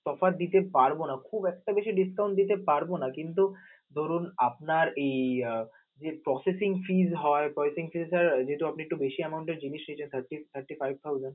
তফাৎ দিতে পারব না, খুব একটা বেশি discount দিতে পারব না. কিন্তু ধরুন আপনার এই এর processing fees হয় processing fees sir যেহেতু আপনি একটু বেশি amount জিনিস নিতে চাচ্ছেন thirty five thousand